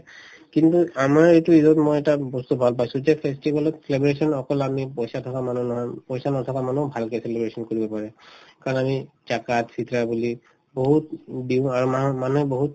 কিন্তু আমাৰ এইটো ঈদত মই এটা বস্তু ভাল পাইছো যে festival ত celebration অকল আমি পইচা থকা মানুহৰ নহয় পইচা নথকা মানুহো ভালকে celebration কৰিব পাৰে কাৰণ আমি জাকাত, ফিত্ৰাহ বুলি বহুত দিও আৰু মাহে মানুহে বহুত